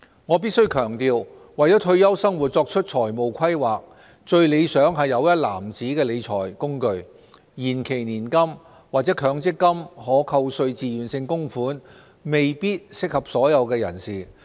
我必須強調，為退休生活作出財務規劃，最理想是有一籃子的理財工具，延期年金或強積金可扣稅自願性供款未必適合所有人士。